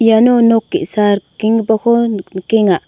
iano nok ge·sa rikenggipako nik nikenga.